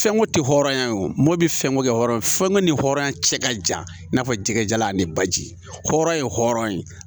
Fɛnko tɛ hɔrɔnya ye o mɔbili fɛnko kɛ hɔrɔn fɛnko ni hɔrɔn cɛ ka jan i n'a fɔ jɛgɛjalan ni baji hɔrɔn ye hɔrɔn ye